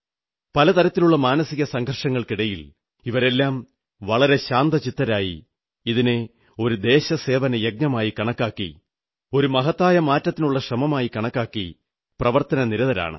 പല തരത്തിലുള്ള മാനസിക സംഘർഷങ്ങൾക്കിടയിൽ ഇവരെല്ലാം വളരെ ശാന്തചിത്തരായി ഇതിനെ ഒരു ദേശസേവനയജ്ഞമായി കണക്കാക്കി ഒരു മഹത്തായ മാറ്റത്തിനുള്ള ശ്രമമായി കണക്കാക്കി പ്രവർത്തനനിരതരാണ്